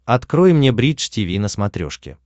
открой мне бридж тиви на смотрешке